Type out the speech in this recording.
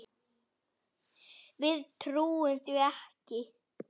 Við trúum því ekki.